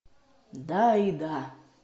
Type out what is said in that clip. да и да